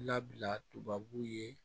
Labila tubabu ye